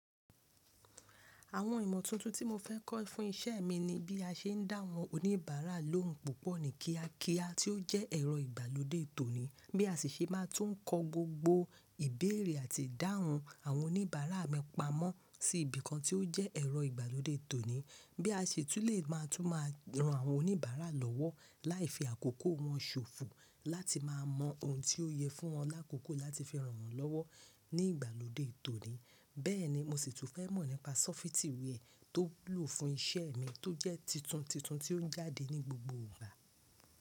Àwọn ìmọ̀ tuntun tí mo fẹ́ kọ́ fún iṣẹ́ mi ni bí a ṣe ń dá àwọn oníbàárà lóhùn púpọ̀ ní kíákíá tí ó jẹ́ ẹ̀rọ ìgbàlódé tòní, bí a sì ṣe máa tún ń kọ gbogbo ìbéèrè àti ìdáhùn àwọn oníbàárà mi pamọ́ sí ibìkan tí ó jẹ́ ẹ̀rọ ìgbàlódé tòní, bí a sì tún lè máa tún mọ àwọn oníbàárà lọ́wọ́ láì fi àkókò wọn ṣòfò láti máa mọ ohun tí ó yẹ fún wọn lákòókò láti fi ràn wọ́n lọ́wọ́ ní ìgbàlódé tòní. Bẹ́ẹ̀ni mo sì tún fẹ́ mọ̀ nípa sọ́fítì wia tó wúlò fún iṣẹ́ mi tó jẹ́ titun titun tí ó ń jáde ní gbogbo ìgbà.